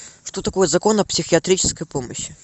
что такое закон о психиатрической помощи